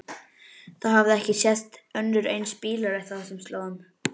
Það hafði ekki sést önnur eins bílalest á þessum slóðum.